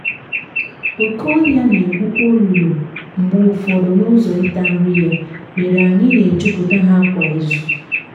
oke ọhịa na-egwukwa olulu mgbe ụfọdụ n’ụzọ ịta nri ya mere anyị na-ejupụta ha kwa izu.